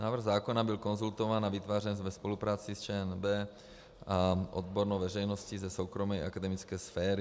Návrh zákona byl konzultován a vytvářen ve spolupráci s ČNB a odbornou veřejností ze soukromé akademické sféry.